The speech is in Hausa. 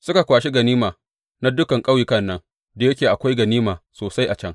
Suka kwashi ganima na dukan ƙauyukan nan, da yake akwai ganima sosai a can.